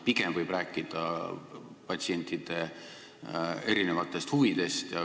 Pigem võib rääkida patsientide erinevatest huvidest.